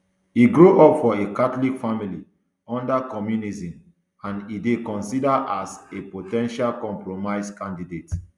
e grow up for a catholic family under communism and e dey considered as a a po ten tial compromise candidate